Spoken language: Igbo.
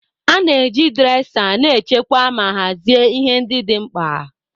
A na-eji dresa na-echekwa ma hazie ihe ndị dị mkpa.